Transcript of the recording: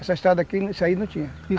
Essa estrada aqui, isso aí não tinha.